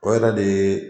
O yɛrɛ de ye